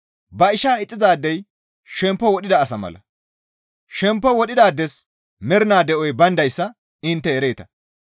Ba ishaa ixxizaadey shemppo wodhida asa mala; shemppo wodhidaades mernaa de7oy bayndayssa intte ereeta.